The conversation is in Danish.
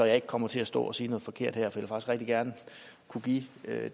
jeg ikke kommer til at stå at sige noget forkert her for rigtig gerne kunne give